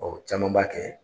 caman b'a kɛ.